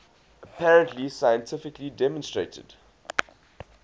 apparently scientifically demonstrated